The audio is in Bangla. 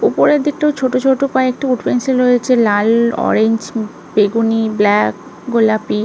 ওপরের দিকটাও ছোটো ছোটো কয়েকটি উঠ পেন্সিল রয়েছে লাল অরেঞ্জ বেগুনি ব্ল্যাক গোলাপি।